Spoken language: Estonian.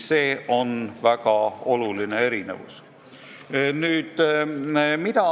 See on väga oluline erinevus.